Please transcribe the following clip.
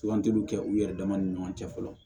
Sugantiliw kɛ u yɛrɛ dama ni ɲɔgɔn cɛ fɔlɔ